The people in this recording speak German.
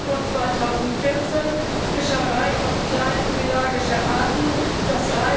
1. Januar 2014 Fischerei auf kleine pelagische Arten, d.